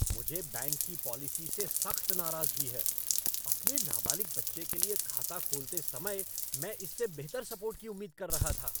मुझे बैंक की पॉलिसी से सख्त नाराजगी है। अपने नाबालिग बच्चे के लिए खाता खोलते समय मैं इससे बेहतर सपोर्ट की उम्मीद कर रहा था।